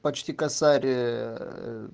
почти косарь ээ